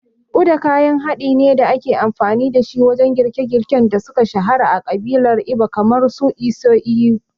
Uda kayan haɗin ne da ake amfani dashi wajen girke-girken da suka shahara a ƙabilar Igbo kamar su isi ewu.